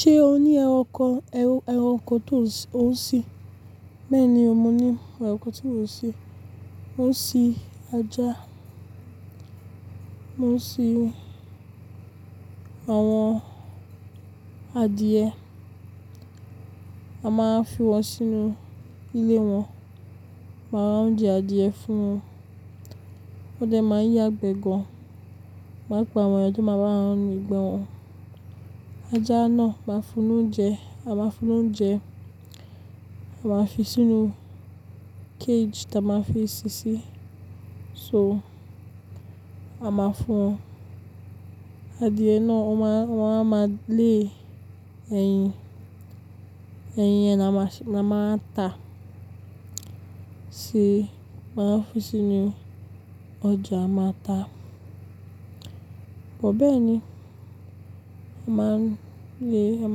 Ṣé o ní ẹranko, ẹranko tó ń sín? Bẹ́ẹ̀ ni, mo ní ẹranko tí mò ń sín. Mo ń sín ajá, mo ń sín àwọn adìẹ, a máa ń fi wọn sínú ilé wọn, màra ounjẹ adìẹ fún wọn. Wọ́n de máa ń yàgbẹ́ gan-an, màá pe àwọn toma bawon nu igbe won. Ajá náà, màá fún un ni oúnjẹ, a máa fi sínú cage táa máa fi ṣíṣí. So, a máa fún adìẹ náà, wọ́n a máa lé ẹyin, ẹyin yẹn ni a máa ta ṣe, máa fi sínú ọjà máa ta. Bẹ́ẹ̀ ni, a máa lé, a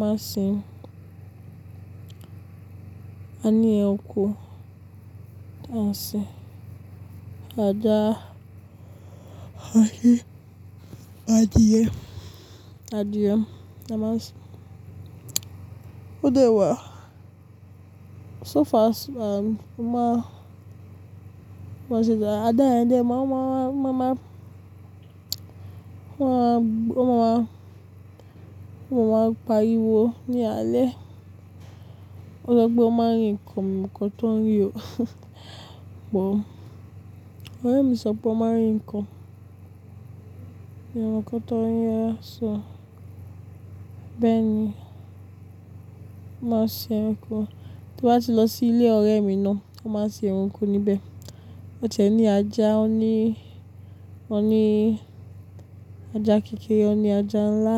máa sin, a ní ẹranko tań sin. Ajá, ẹyẹ, adìẹ adìẹ a máa sin. Ódá wà. So far, um, mo máa ṣè jẹ ajá yẹn dé, mo máa, mo máa, wọ́n máa, wọ́n máa pariwo ní alẹ́. Ọlọ́gbọ́ máa ń ri kàn mio mo nkan ton rí o but. Ọ̀rẹ́ mi sọ pé wo máa ń ri kàn ní ẹranko tó ń rí, sọ bẹ́ẹ̀ ni. Mo máa sin ẹranko. Tí wọ́n bá ti lọ sí ilé ọ̀rẹ́ mi náà, a máa sin ẹranko níbẹ̀. Ọ̀jẹ̀ ní ajá, ó ní, won ní ajá kékeré, ó ní ajá ńlá.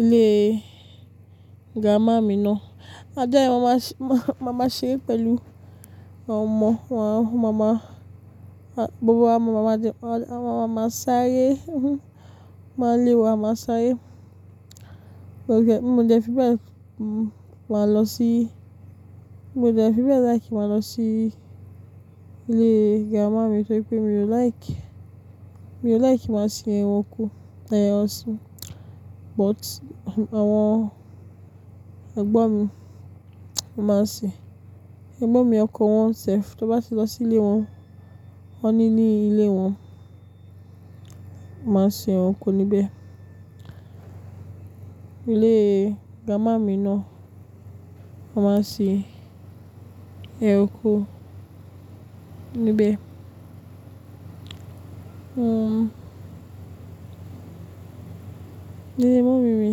Ilé grandma mi náà, ajá yẹn màá máa ṣe pẹ̀lú àwọn ọmọ, àwọn màmá, gbogbo àwọn màmá jẹ, àwọn màmá sáré. Máa lé wọ, máa sáré. Mo jẹ, mo jẹ fi bẹ́ẹ̀, màá lọ sí, mo jẹ fi bẹ́ẹ̀ like kí màá lọ sí ilé grandma mi torí pé mi ò like, mi ò like máa sin ẹranko, àìní ọ̀sìn. But àwọn ẹ̀gbọ́n mi máa ń sin. Ẹ̀gbọ́n mi ọkọ wọn sẹ̀f, tí wọ́n bá ti lọ sí ilé wọn, wọ́n ní ní ilé wọn, màá sin ẹranko níbẹ̀. Ilé grandma mi náà, a máa sin ẹranko níbẹ̀. Um, ilé mummy mi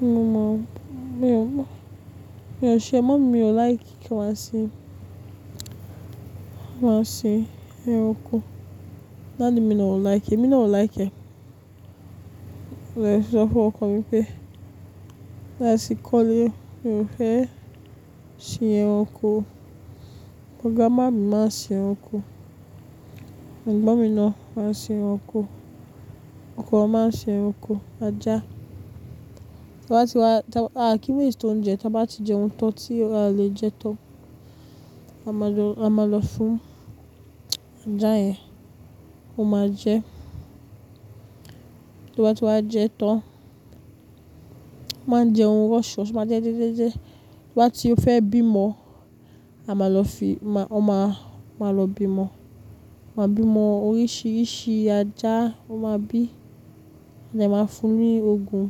ni mo máa, mi ò mọ̀, mi ò ṣe, màmá mi ò like kí n máa sin, máa sin ẹranko. Daddy mi náà ò like, èmi náà ò like. Mo lè sọ fún ọkọ mi pé, tí a bá ti kọ́lé, mi ò fẹ́ sin ẹranko. Grandma mi máa ń sin ẹranko. Ẹ̀gbọ́n mi náà máa ń sin ẹranko. Ọkọ wọn máa ń sin ẹranko. Ajá, tí wọ́n bá ti wá, tí wọ́n bá ti jẹ ohun tó ti o le jẹ tán, a máa lọ fún ajá yẹn, ó máa jẹ. Tí wọ́n bá ti wá jẹ tán, o máa ń jẹun rush rush, ó má ń jẹ jẹ́jẹ́jẹ́. Tí wọ́n bá ti fẹ́ bímọ, a máa lọ fi, wọ́n máa lọ bímọ. Wọn máa bímọ oríṣiríṣi ajá wọ́n máa bí. Ade máa ń fún un ní òògùn.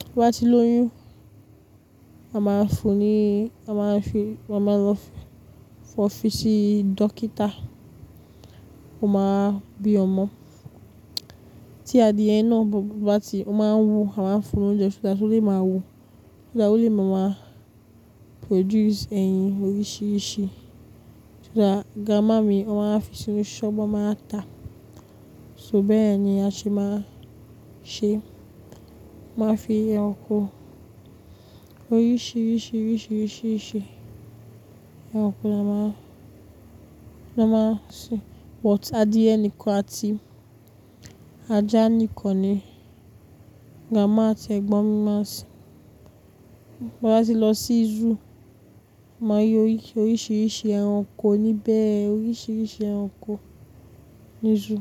Tí o bá ti lóyún, a máa ń fún un ní, a máa ń fi, a máa lọ fún ọ́ fi sí dókítà, ó máa bí ọmọ. Tí adìẹ náà bá ti, ó máa ń wú, a máa ń fún un lóúnjẹ, kí ó lè máa wú, kí ó lè máa produce ẹyin oríṣiríṣi. So that, grandma mi wọ́n máa wa fi sínú ṣọ́bu wa máa ta. So bẹ́ẹ̀ ni a se máa ń ṣe. Máa fi ẹranko oríṣiríṣi, oríṣiríṣi, oríṣiríṣi ẹranko ni a máa, ni a máa ń sin. But adìẹ nìkan àti ajá nìkan ni grandma àti ẹ̀gbọ́n mi máa ń sin. Tí a bá ti lọ sí zoo, màá rí oríṣiríṣi ẹranko níbẹ̀, oríṣiríṣi ẹranko ní zoo.